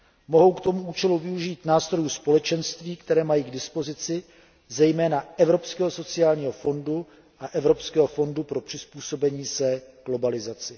Mohou k tomu účelu využít nástrojů Společenství, které mají k dispozici, zejména Evropského sociálního fondu a Evropského fondu pro přizpůsobení se globalizaci.